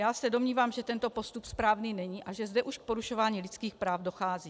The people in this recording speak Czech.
Já se domnívám, že tento postup správný není a že zde už k porušování lidských práv dochází.